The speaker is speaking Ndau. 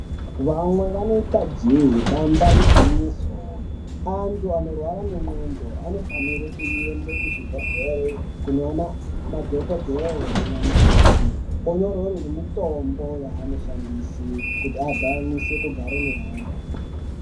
Vamwe vanoita jee damba igwinyiso antu anorwara nendxondo anofanire kuende kuzvibhedhleri kunoone madhokodhee naana mukoti onyorerwe nemitombo yaanoshandise kuti aganise kugara neamwe.